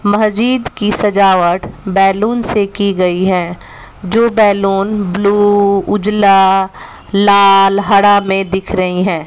महजिद की सजावट बैलून से की गई हैं जो बैलून ब्लू उजला लाल हरा में दिख रही हैं।